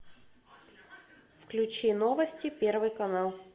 включи новости первый канал